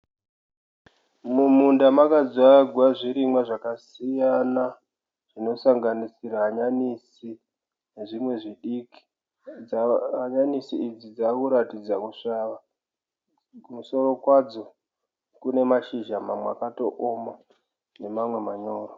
Mumunda makadzvagwa zvirimwa zvakasiyana zvinosanganisira hanyanisi nezvimwe zvidiki. Hanyanisi idzi dzakuratidza kusvava kumusoro kwadzo kune mashizha mamwe akaotooma nemamwe manyoro.